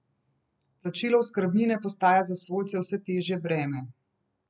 Plačilo oskrbnine postaja za svojce vse težje breme.